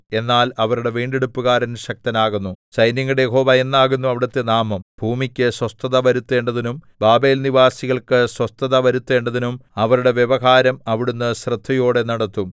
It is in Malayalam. എന്നാൽ അവരുടെ വീണ്ടെടുപ്പുകാരൻ ശക്തനാകുന്നു സൈന്യങ്ങളുടെ യഹോവ എന്നാകുന്നു അവിടുത്തെ നാമം ഭൂമിക്ക് സ്വസ്ഥത വരുത്തേണ്ടതിനും ബാബേൽനിവാസികൾക്ക് സ്വസ്ഥത വരുത്തേണ്ടതിനും അവരുടെ വ്യവഹാരം അവിടുന്ന് ശ്രദ്ധയോടെ നടത്തും